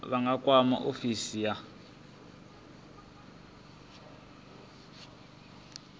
vha nga kwama ofisi ya